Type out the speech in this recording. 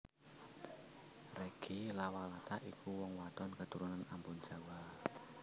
Reggy Lawalata iku wong wadon keturunan Ambon Jawa